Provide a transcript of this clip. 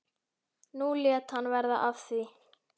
Nú lét hann verða af því.